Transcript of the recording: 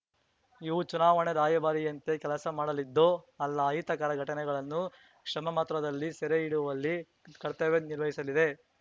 ಇವು ಚುನಾವಣಾ ರಾಯಭಾರಿಯಂತೆ ಕೆಲಸ ಮಾಡಲಿದ್ದು ಅಲ್ಲ ಅಹಿತಕರ ಘಟನೆಗಳನ್ನು ಕ್ಷಮಮಾತ್ರದಲ್ಲಿ ಸೆರೆ ಹಿಡಿಯುವಲ್ಲಿ ಕರ್ತವ್ಯ ನಿರ್ವಹಿಸಲಿದೆ